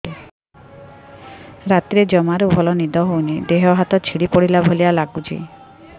ରାତିରେ ଜମାରୁ ଭଲ ନିଦ ହଉନି ଦେହ ହାତ ଛିଡି ପଡିଲା ଭଳିଆ ଲାଗୁଚି